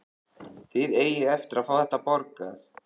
Þið eigið eftir að fá þetta borgað!